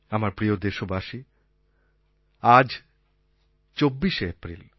আমার প্রিয় দেশবাসী আজ ২৪শে এপ্রিল